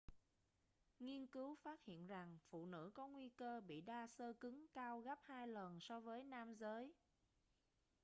nghiên cứu phát hiện rằng phụ nữ có nguy cơ bị đa xơ cứng cao gấp hai lần so với nam giới